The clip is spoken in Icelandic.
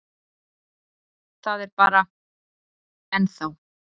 Það er bara. ennþá.